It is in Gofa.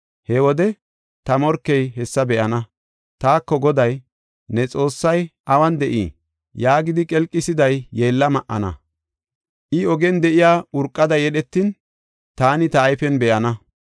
He wode ta morkey hessa be7ana; taako, “Goday ne Xoossay awun de7ii?” yaagidi qelqisiday yeella ma77ana. I ogen de7iya urqada yedhetin, taani ta ayfen be7ana.